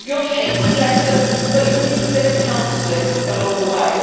Your hate will lessen, but you will need a bit of counselling along the way.